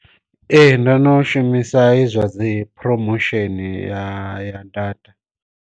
Ee ndo no shumisa he zwa dzi phuromosheni ya ya data.